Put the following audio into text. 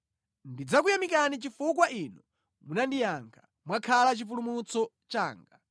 Ndidzakuyamikani chifukwa Inu munandiyankha; mwakhala chipulumutso changa.